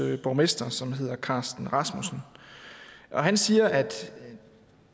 borgmester som hedder carsten rasmussen og han siger at